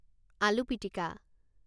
আলু পিটিকা